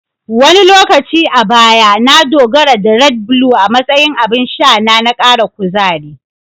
Wani lokaci a baya, na dogara da "Red Blue" a matsayin abin sha na kara kuzari.